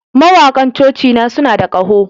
Mawakan cocina suna da ƙaho